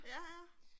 Ja ja